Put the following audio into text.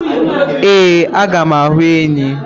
Ee, aga m ahu enyi.